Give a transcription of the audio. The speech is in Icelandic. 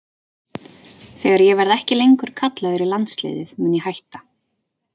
Þegar ég verði ekki lengur kallaður í landsliðið mun ég hætta.